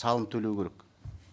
салым төлеу керек